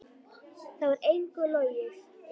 Þar var engu logið.